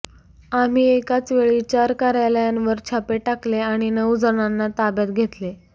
आम्ही एकाच वेळी चार कार्यालयांवर छापे टाकले आणि नऊ जणांना ताब्यात घेतले